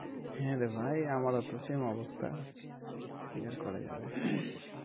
হ্যাঁ রে ভাই আমারও same অবস্থা কি আর করা যাবে